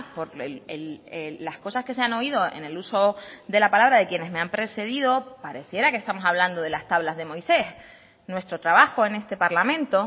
por las cosas que se han oído en el uso de la palabra de quienes me han precedido pareciera que estamos hablando de las tablas de moisés nuestro trabajo en este parlamento